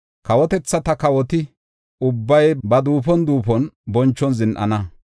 Kawotethata kawoti ubbay ba duufon duufon bonchon zin7ana.